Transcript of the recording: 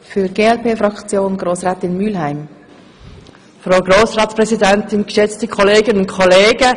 Es kommt selten vor, dass die kleinen Parteien voll zum Zuge kommen.